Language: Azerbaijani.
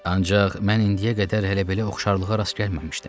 Ancaq mən indiyə qədər hələ belə oxşarlığa rast gəlməmişdim.